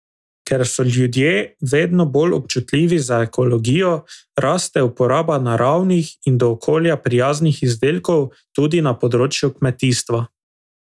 Ker so ljudje vedno bolj občutljivi za ekologijo, raste uporaba naravnih in do okolja prijaznih izdelkov tudi na področju kmetijstva.